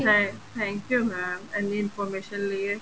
thank thank you mam ਇੰਨੀ information ਲਈਏ